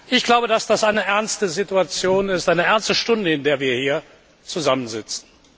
Ich glaube, dass das eine ernste Situation ist, eine ernste Stunde, in der wir hier zusammensitzen.